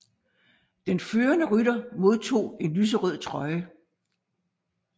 Den førende rytter modtog en lyserød trøje